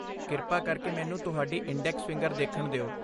ਕਿਰਪਾ ਕਰਕੇ ਮੈਨੂੰ ਤੁਹਾਡੀ ਇੰਡੈਕਸ ਫਿੰਗਰ ਦੇਖਣ ਦਿਓ।